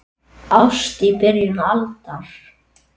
Ást í byrjun aldar